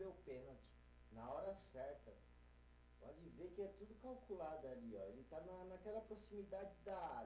o pênalti na hora certa, pode ver que é tudo calculado ali ó, ele está na naquela proximidade da área.